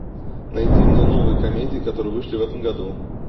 найди мне новые комедии которые вышли в этом году